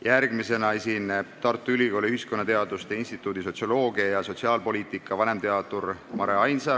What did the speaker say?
Järgmisena esineb Tartu Ülikooli ühiskonnateaduste instituudi sotsioloogia ja sotsiaalpoliitika vanemteadur Mare Ainsaar.